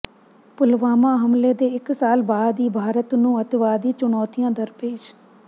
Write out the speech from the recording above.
ਪੁਲਵਾਮਾ ਹਮਲੇ ਦੇ ਇੱਕ ਸਾਲ ਬਾਅਦ ਵੀ ਭਾਰਤ ਨੂੰ ਅੱਤਵਾਦੀ ਚੁਣੌਤੀਆਂ ਦਰਪੇਸ਼